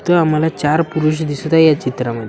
इथं आम्हाला चार पुरुष दिसत आहे या चित्राम --